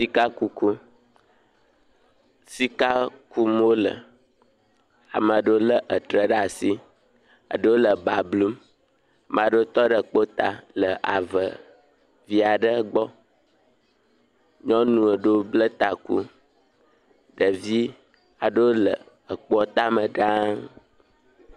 Sikakuku. Sika kum wole. Ama ɖewo lé etré ɖe asi. Eɖewo le ba blum. Ama ɖewo tɔ ɖe kpo ta le ave vi aɖewo gbɔ. Nyɔnu ɖewo bla taku. Ɖevi aɖewo le ekpoa tame ɖaa.